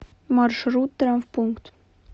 маршрут травмпункт